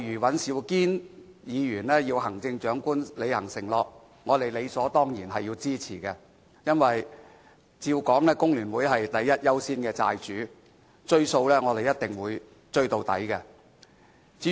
尹兆堅議員要求行政長官履行承諾，對此我們理所當然予以支持，因為照理說，工聯會是第一優先的"債主"，"追數"我們一定會追到底。